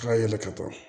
Ka yɛlɛ ka taa